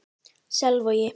Selvogi